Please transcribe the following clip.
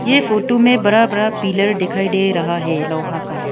ये फोटो में बड़ा बड़ा पिलर दिखाई दे रहा है लोहा का ।